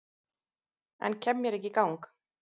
En kem mér ekki í gang